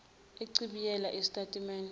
uchibiyele isitati mende